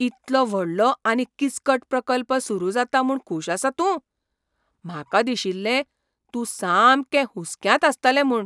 इतलो व्हडलो आनी किचकट प्रकल्प सुरू जाता म्हूण खूश आसा तूं? म्हाका दिशिल्लें तूं सामकें हुसक्यांत आसतलें म्हूण.